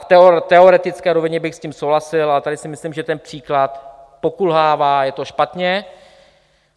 V teoretické rovině bych s tím souhlasil, ale tady si myslím, že ten příklad pokulhává, je to špatně.